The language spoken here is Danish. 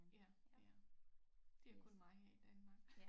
Ja ja det er kun mig her i Danmark